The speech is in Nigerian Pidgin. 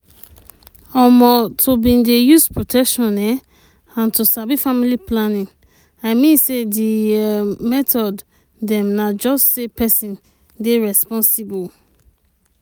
um to bin dey use protection um and to sabi family planning i mean say d um method dem na just say peson dey responsible.